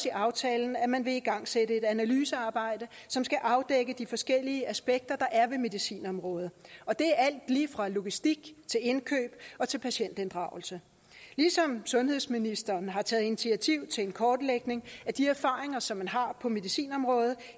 i aftalen at man vil igangsætte et analysearbejde som skal afdække de forskellige aspekter der er ved medicinområdet og det er alt lige fra logistik til indkøb og til patientinddragelse ligesådan sundhedsministeren taget initiativ til en kortlægning af de erfaringer som man har på medicinområdet